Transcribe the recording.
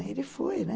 Ele foi, né?